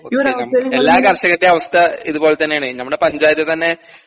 എല്ലാ കർഷകരിൻറേം അവസ്ഥ ഇതുപോലെത്തന്നെയാണ് നമ്മടെ പഞ്ചായത്തിത്തന്നെ